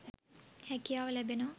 හැකියාව ලැබෙනවා.